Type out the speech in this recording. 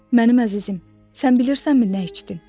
Mənim əzizim, sən bilirsənmi nə içdin?